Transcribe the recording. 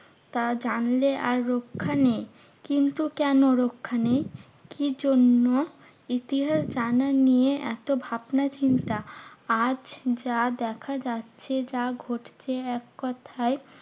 তা জানলে আর রক্ষা নেই। কিন্তু কেন রক্ষা নেই? কি জন্য? ইতিহাস জানা নিয়ে এত ভাবনাচিন্তা। আজ যা দেখা যাচ্ছে যা ঘটছে এককথায়